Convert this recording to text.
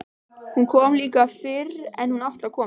Hún kom líka fyrr en hún átti að koma.